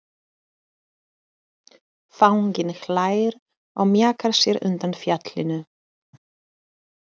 Fanginn hlær og mjakar sér undan fjallinu.